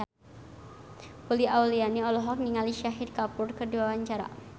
Uli Auliani olohok ningali Shahid Kapoor keur diwawancara